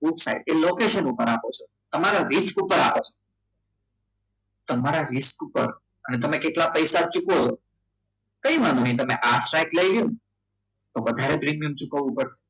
એ location ઉપર આપે છે તમારે risk ઉપર આપે છે તમારા risk ઉપર તમે કેટલા પૈસા ચૂકવો છો? કંઈ વાંધો નહીં. આ સાઈડ લઇ લ્યો ને વધારે પ્રીમિયમ ચૂકવવું પડે